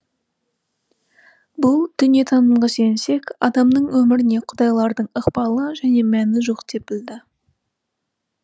бұл дүниетанымға сүйенсек адамның өміріне құдайлардың ықпалы және мәні жоқ деп білді